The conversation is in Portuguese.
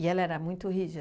ela era muito rígida?